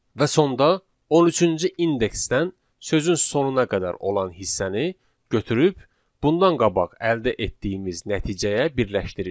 Və sonda 13-cü indeksdən sözün sonuna qədər olan hissəni götürüb bundan qabaq əldə etdiyimiz nəticəyə birləşdiririk.